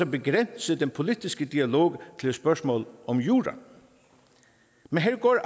begrænse den politiske dialog til et spørgsmål om jura men her går